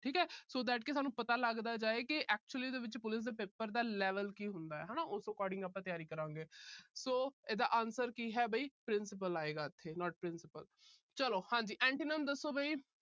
ਠੀਕ ਹੈ। so that ਸਾਨੂੰ ਪਤਾ ਲੱਗਦਾ ਜਾਏ ਕਿ actually ਵਿੱਚ police ਦੇ paper ਦਾ level ਕੀ ਹੁੰਦਾ ਏ ਹਨਾ। ਉਸ according ਆਪਾ ਤਿਆਰੀ ਕਰਾਂਗੇ। so ਇਹਦਾ answer ਕੀ ਹੈ ਵੀ principle ਆਏਗਾ ਇੱਥੇ not principal ਚਲੋ ਹਾਂਜੀ antonym ਦੱਸੋ ਵੀ